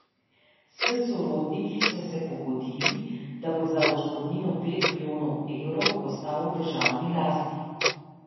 S sorodniki so se pogodili, da bo za odškodnino pet milijonov evrov ostal v državni lasti.